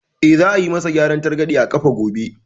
Eh, za a yi ma sa gyaran targaɗe a ƙafa gobe